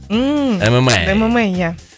ммм мма мма ия